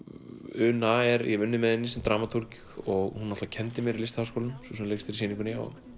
una ég hef unnið með henni sem dramatúrg og hún náttúrulega kenndi mér í Listaháskólanum sú sem leikstýrir sýningunni og